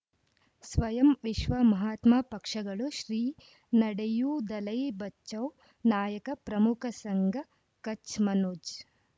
ಸ್ವಯಂ ವಿಶ್ವ ಮಹಾತ್ಮ ಪಕ್ಷಗಳು ಶ್ರೀ ನಡೆಯೂ ದಲೈ ಬಚೌ ನಾಯಕ ಪ್ರಮುಖ ಸಂಘ ಕಚ್ ಮನೋಜ್